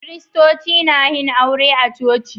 Kiritoci na yin aure a coci.